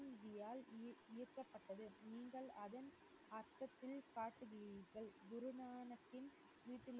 ஈர்~ ஈர்க்கப்பட்டது நீங்கள் அதன் அர்த்தத்தில் பார்க்கிறீர்கள் குருநானக்கின் வீட்டில்